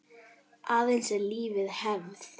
Aðeins ef lífið hefði.?